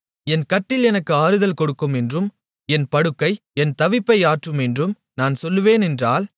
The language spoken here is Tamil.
என் கட்டில் எனக்கு ஆறுதல் கொடுக்கும் என்றும் என் படுக்கை என் தவிப்பை ஆற்றும் என்றும் நான் சொல்வேன் என்றால்